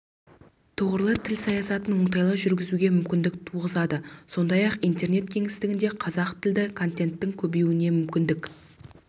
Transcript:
тұғырлы тіл саясатын оңтайлы жүргізуге мүмкіндік туғызады сондай-ақ интернет кеңістігінде қазақ тілді контенттің көбеюіне мемлекеттік